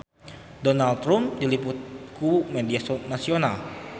Donald Trump diliput ku media nasional